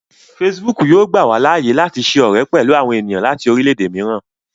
Facebook yóò gbà wá láàyè láti ṣe ọrẹ pẹlú àwọn ènìyàn láti orilẹ-ède mìíràn